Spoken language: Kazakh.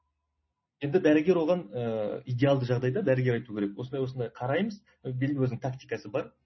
енді дәрігер оған ыыы идеалды жағдайды дәрігер айту керек осындай осындай қараймыз белгілі бір өзінің тактикасы бар